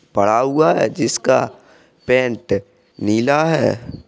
पड़ा हुआ है जिसका पैंट नीला है।